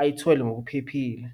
ayithole ngokuphephile.